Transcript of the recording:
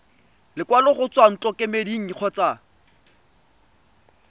lekwalo go tswa ntlokemeding kgotsa